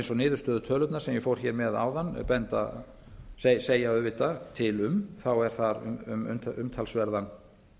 eins og niðurstöðutölurnar sem ég fór hér með áðan segja auðvitað til um er þar um að ræða